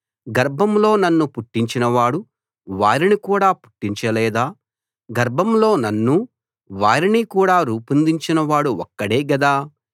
గర్భంలో నన్ను పుట్టించినవాడు వారిని కూడా పుట్టించ లేదా గర్భంలో నన్నూ వారినీ కూడా రూపొందించినవాడు ఒక్కడే గదా